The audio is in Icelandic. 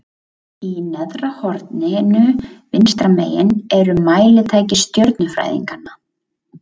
Í neðra horninu vinstra megin eru mælitæki stjörnufræðinganna.